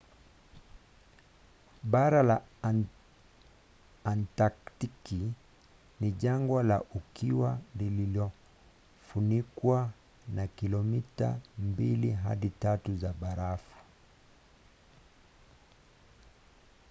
bara la antaktiki ni jangwa la ukiwa lililofunikwa na kilomita 2-3 za barafu